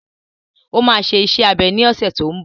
Ó máa ṣe iṣẹ́ abẹ ní ọ̀sẹ̀ tó n bọ̀